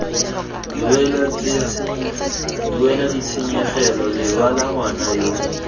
duela ditshenyegelo lebala ngwana yo